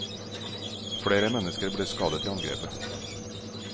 Flere mennesker ble skadet i angrepet.